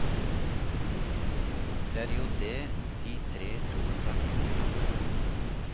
Det er jo det de tre troens artikler handler om.